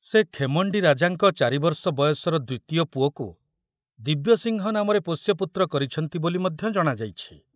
ସେ ଖେମଣ୍ଡି ରାଜାଙ୍କ ଚାରିବର୍ଷ ବୟସର ଦ୍ୱିତୀୟ ପୁଅକୁ ଦିବ୍ୟସିଂହ ନାମରେ ପୋଷ୍ୟପୁତ୍ର କରିଛନ୍ତି ବୋଲି ମଧ୍ୟ ଜଣାଯାଇଛି।